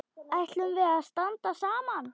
Ætlum við að standa saman?